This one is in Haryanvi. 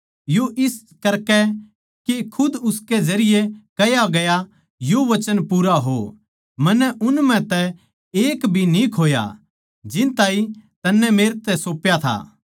यो इस करकै के खुद उसके जरिये कह्या गया यो वचन पूरा हो मन्नै उन म्ह तै एक भी न्ही खोया जिनताहीं तन्नै मेरतै सौप्या था